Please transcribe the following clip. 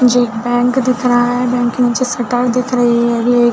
जो एक बैंक दिख रहा है बैंक के निचे शटर दिख रही है और--